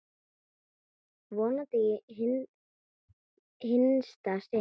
Vonandi í hinsta sinn.